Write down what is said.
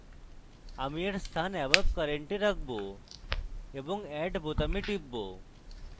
আমি এর স্থান above current এ রাখব এবং add বোতামে টিপব